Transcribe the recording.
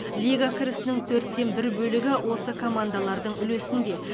лига кірісінің төрттен бір бөлігі осы командалардың үлесінде